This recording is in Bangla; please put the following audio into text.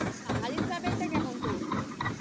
পাহাড়ের travel টা কেমন করলি?